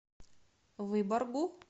выборгу